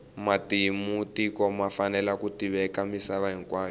matimu ya tiko ma fanele ku tiveka misava hinkwayo